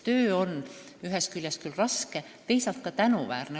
Töö on seal ühest küljest küll raske, aga teisalt ka tänuväärne.